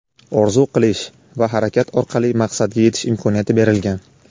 orzu qilish va harakat orqali maqsadga yetish imkoniyati berilgan.